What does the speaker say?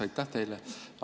Aitäh teile!